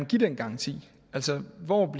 give den garanti altså hvor